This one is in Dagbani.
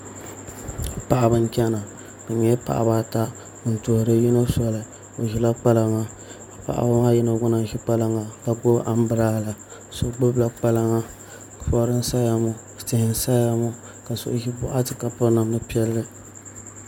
Paɣaba n chɛna bi nyɛla paɣaba ata n tuhuri yino soli o ʒila kpalaŋa paɣaba maa gba yino lahi ʒi kpalaŋa ka gbubi anbirala so gbubila kpalaŋa mɔri n saya ŋɔ tihi n saya ŋɔ ka so ʒi boɣati ka piri namda piɛlli